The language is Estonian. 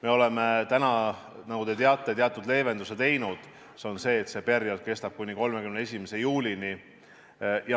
Me oleme täna, nagu te teate, teatud leevenduse teinud, see on see, et see periood kestab kuni 31. juulini.